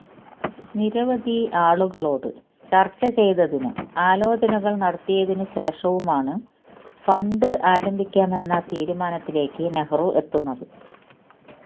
നിരവധി ആളുകളോട് ചര്ച്ചചെയ്തതിനും ആലോചനകള് നടത്തിയതിനു ശേഷവുമാണ് ഫണ്ട് ആരംഭിക്കാമെന്ന തീരുമാനത്തിലേക്ക് നെഹ്റു എത്തുന്നത്